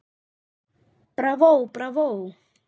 Bravó, bravó